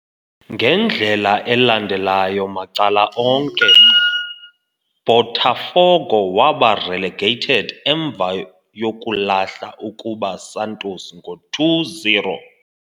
Ngendlela elandelayo macala onke, Botafogo waba relegated emva yokulahla ukuba Santos ngo 2-0.